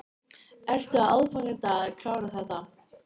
Ertu á aðfangadag að klára þetta?